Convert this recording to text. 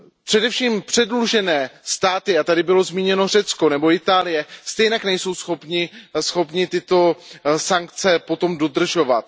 Především předlužené státy, bylo tady zmíněno Řecko nebo Itálie, stejně nejsou schopny tyto sankce potom dodržovat.